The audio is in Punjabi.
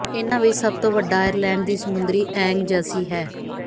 ਇਨ੍ਹਾਂ ਵਿੱਚੋਂ ਸਭ ਤੋਂ ਵੱਡਾ ਆਇਰਲੈਂਡ ਦੀ ਸਮੁੰਦਰੀ ਏਂਗਜ਼ਸੀ ਹੈ